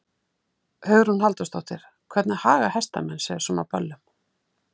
Hugrún Halldórsdóttir: Hvernig haga hestamenn sér svona á böllum?